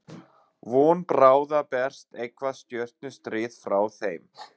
Von bráðar berst eitthvert stjörnustríð frá þeim.